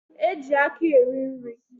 E ji aka eri nri.